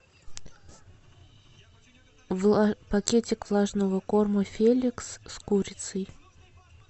пакетик влажного корма феликс с курицей